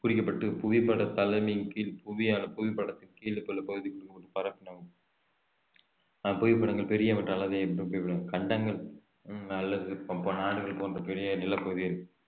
குறிக்கப்பட்டு புவிப்பட தலமையின் கீழ் புவியான புவிப்படத்தின் கீழ் பல பகுதிகளில் அஹ் புவிப்படங்கள் பெரியவற்ற அளவை கண்டங்கள் உம் அல்லது ப~ நாடுகள் போன்ற பெரிய நிலப்பகுதி